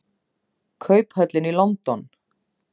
Kauphöllin í London.